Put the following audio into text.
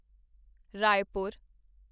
Raipur